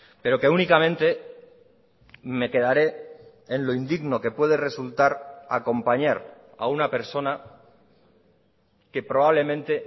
pero que únicamente me quedaré en lo indigno que puede resultar acompañar a una persona que probablemente